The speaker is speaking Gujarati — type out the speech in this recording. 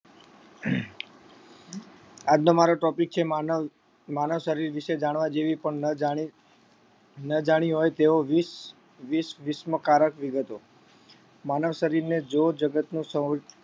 આજ નો મારો topic છે માનવ માનવ શરીર વિશે જાણવા જેવી પણ ન જાણિ ન જાણી હોય તેઓ વીસ વિસ્મકારક વિગતો માનવ શરીર ને જો જગતનું સૌ